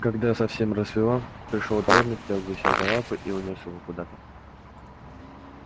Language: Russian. когда совсем рассвело пришёл дворник взял гуся за лапы и унёс его куда-то